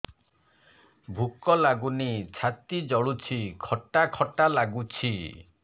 ଭୁକ ଲାଗୁନି ଛାତି ଜଳୁଛି ଖଟା ଖଟା ଲାଗୁଛି